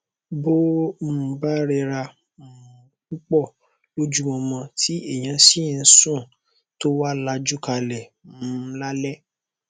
bó um bá rẹra um púpọ lọjúmọmọ tí èèyà sì ń sù tó wá lajú kalẹ um lálẹ